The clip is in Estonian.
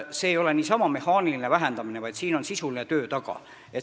See ei ole niisama mehaaniline vähendamine, vaid siin on sisuline töö taga.